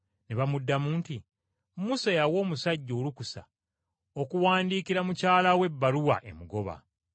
Ne bamuddamu nti, “Musa yawa omusajja olukusa okuwandiikira mukyala we ebbaluwa emugoba.”